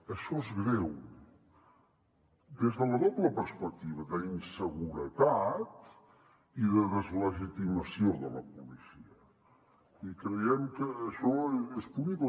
això és greu des de la doble perspectiva d’inseguretat i de deslegitimació de la policia i creiem que això és punible